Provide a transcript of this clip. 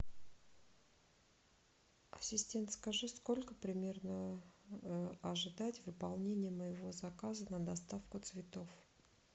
ассистент скажи сколько примерно ожидать выполнения моего заказа на доставку цветов